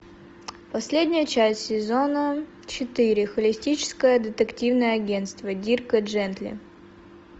последняя часть сезона четыре холистическое детективное агентство дирка джентли